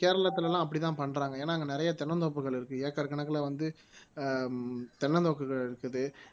கேரளத்துல எல்லாம் அப்படித்தான் பண்றாங்க ஏன்னா அங்க நிறைய தென்னந்தோப்புகள் இருக்கு ஏக்கர் கணக்குல வந்து ஆஹ் தென்னந்தோப்புகள் இருக்குது